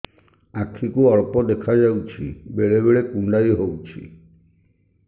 ଆଖି କୁ ଅଳ୍ପ ଦେଖା ଯାଉଛି ବେଳେ ବେଳେ କୁଣ୍ଡାଇ ହଉଛି